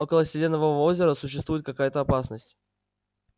около селенового озера существует какая-то опасность